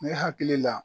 Ne hakili la